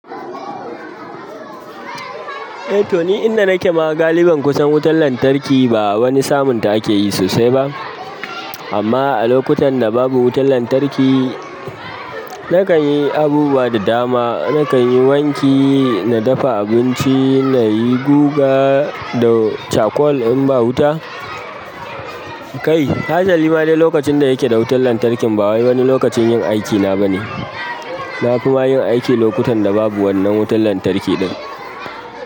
Eh to ni, inda nake ma galiban kusan wutan lantarki ba wani samunta ake yi sosai ba. Amma a lokutan da babu wutan lantarki, nakan yi abubuwa da dama. Nakan yi wanki, na dafa abinci, na yi guga da charcoal in ba wuta. Kai, hatsali bane lokacin da yake da wutan lantarkin ba wai wani lokacin yin aikina bane. Na fi ma yin aiki lokutan da babu wannan wutan lantarki ɗin.